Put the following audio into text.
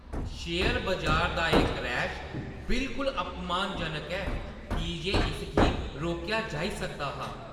Share बजार दा एह् क्रैश बिलकुल अपमानजनक ऐ की जे इसगी रोकेआ जाई सकदा हा।